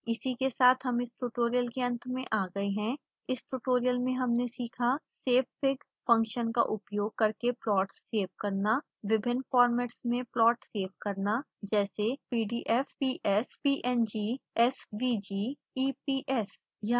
इसी के साथ हम इस ट्यूटोरियल के अंत में आ गए हैं इस ट्यूटोरियल में हमने सीखा